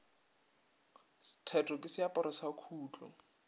theto ke seaparo sa khutlo